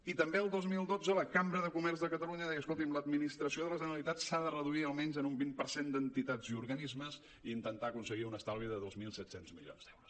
i també el dos mil dotze la cambra de comerç de catalunya deia escolti’m l’administració de la generalitat s’ha de reduir almenys en un vint per cent d’entitats i organismes i intentar aconseguir un estalvi de dos mil set cents milions d’euros